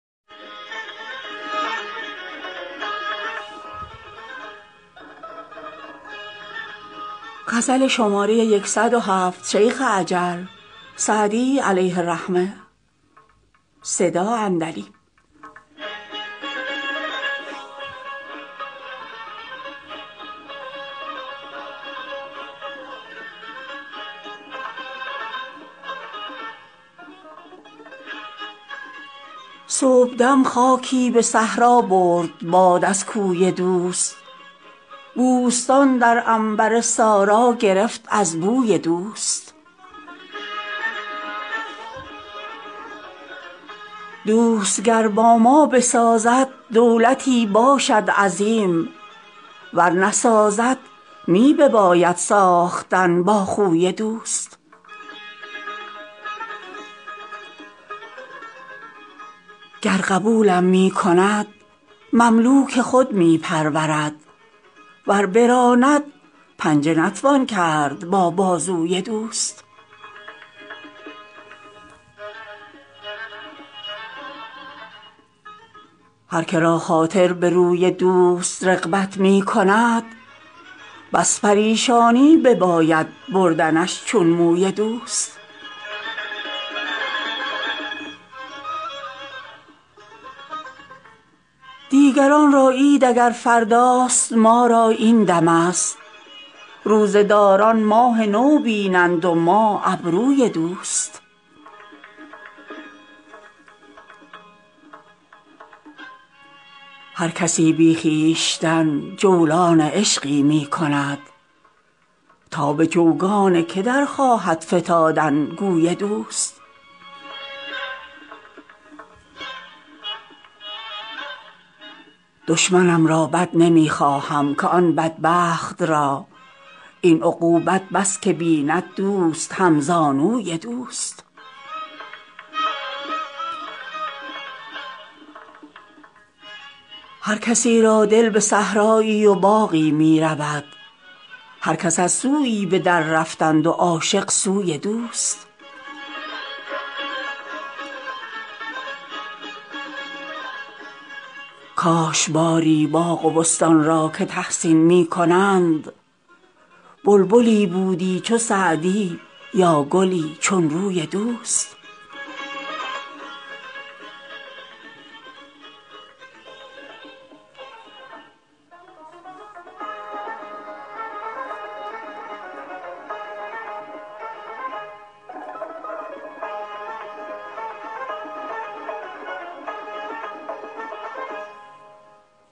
صبحدم خاکی به صحرا برد باد از کوی دوست بوستان در عنبر سارا گرفت از بوی دوست دوست گر با ما بسازد دولتی باشد عظیم ور نسازد می بباید ساختن با خوی دوست گر قبولم می کند مملوک خود می پرورد ور براند پنجه نتوان کرد با بازوی دوست هر که را خاطر به روی دوست رغبت می کند بس پریشانی بباید بردنش چون موی دوست دیگران را عید اگر فرداست ما را این دمست روزه داران ماه نو بینند و ما ابروی دوست هر کسی بی خویشتن جولان عشقی می کند تا به چوگان که در خواهد فتادن گوی دوست دشمنم را بد نمی خواهم که آن بدبخت را این عقوبت بس که بیند دوست همزانوی دوست هر کسی را دل به صحرایی و باغی می رود هر کس از سویی به دررفتند و عاشق سوی دوست کاش باری باغ و بستان را که تحسین می کنند بلبلی بودی چو سعدی یا گلی چون روی دوست